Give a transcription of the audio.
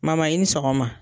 i ni sɔgɔma